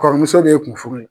Kɔrɔmuso de ye kun furu ye.